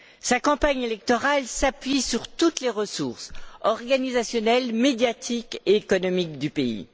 Sa campagne électorale s'appuie sur toutes les ressources organisationnelles, médiatiques et économiques du pays.